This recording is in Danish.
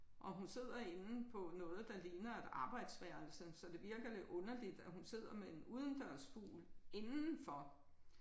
Og hun sidder inde på noget der ligner et arbejdsværelse så det virker lidt underligt at hun sidder med en udendørsfugl indenfor